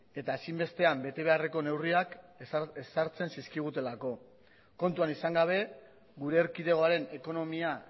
eta ezinbestean bete beharreko neurriak ezartzen zizkigutelako kontuan izan gabe gure erkidegoaren ekonomia